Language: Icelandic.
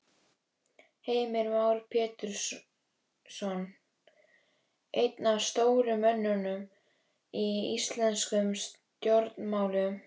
Heimir Már Pétursson: Einn af stóru mönnunum í íslenskum stjórnmálum?